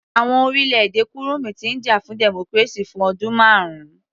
Àwọn orílẹ̀-èdè kurumi ti ń jà fún democracy fún ọdún marun